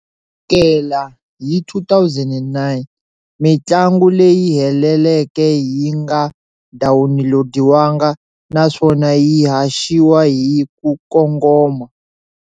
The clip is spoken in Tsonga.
Sukela hi 2009, mintlangu leyi heleleke yi nga dawunilodiwanga naswona yi haxiwa hi ku kongoma.